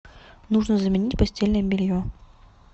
нужно заменить постельное белье